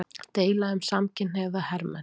Deila um samkynhneigða hermenn